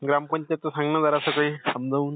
ग्रामपंचायतचं सांग ना जरास काही समजावून.